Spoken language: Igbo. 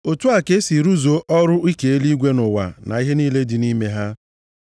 Otu a ka e si rụzuo ọrụ ike eluigwe na ụwa na ihe niile dị nʼime ha.